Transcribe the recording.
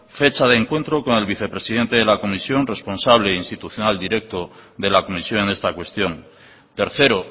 fecha de encuentro con el vicepresidente de la comisión responsable institucional directo de la comisión en esta cuestión tercero